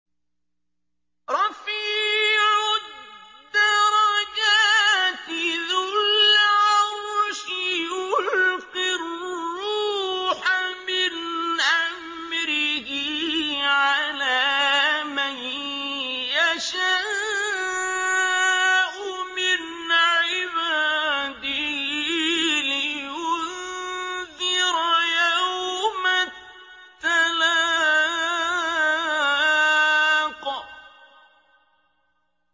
رَفِيعُ الدَّرَجَاتِ ذُو الْعَرْشِ يُلْقِي الرُّوحَ مِنْ أَمْرِهِ عَلَىٰ مَن يَشَاءُ مِنْ عِبَادِهِ لِيُنذِرَ يَوْمَ التَّلَاقِ